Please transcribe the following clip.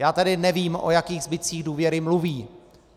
Já tedy nevím, o jakých zbytcích důvěry mluví.